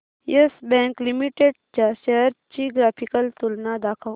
yes Bank Limited च्या shares ची graphical तुलना दाखव